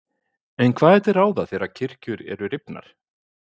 En hvað er til ráða þegar kirkjur eru rifnar?